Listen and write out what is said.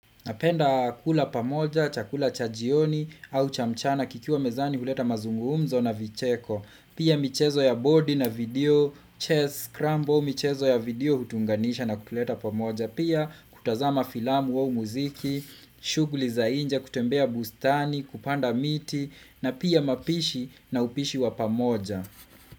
Napenda kula pamoja, chakula cha jioni au cha mchana, kikiwa mezani huleta mazungumzo na vicheko, pia michezo ya body na video, chess, crumble, michezo ya video hutuunganisha na kutuleta pamoja, pia kutazama filamu au muziki, shughuli za nje, kutembea bustani, kupanda miti, na pia mapishi na upishi wa pamoja.